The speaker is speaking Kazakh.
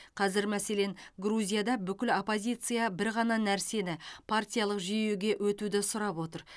қазір мәселен грузияда бүкіл оппозиция бір ғана нәрсені партиялық жүйеге өтуді сұрап отыр